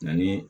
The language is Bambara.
Ni